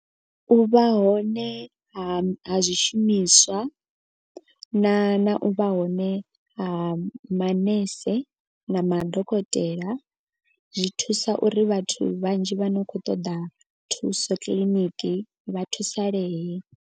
U vha hone ha ha zwishumiswa na na u vha hone ha manese na madokotela. Zwi thusa uri vhathu vhanzhi vha no khou ṱoḓa thuso kiḽiniki vha thusalee.